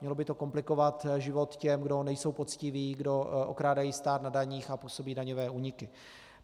Mělo by to komplikovat život těm, kdo nejsou poctiví, kdo okrádají stát na daních a působí daňové úniky.